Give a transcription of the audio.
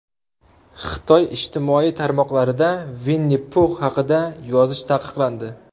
Xitoy ijtimoiy tarmoqlarida Vinni-Pux haqida yozish taqiqlandi.